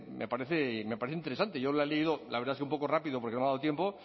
me parece interesante yo le he leído la verdad es que un poco rápido porque no me ha dado tiempo